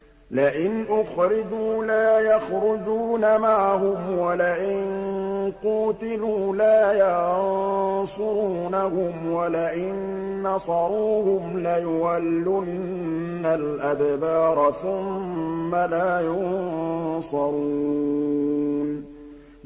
لَئِنْ أُخْرِجُوا لَا يَخْرُجُونَ مَعَهُمْ وَلَئِن قُوتِلُوا لَا يَنصُرُونَهُمْ وَلَئِن نَّصَرُوهُمْ لَيُوَلُّنَّ الْأَدْبَارَ ثُمَّ لَا يُنصَرُونَ